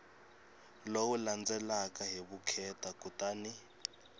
lowu landzelaka hi vukheta kutani